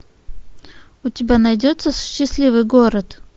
у тебя найдется счастливый город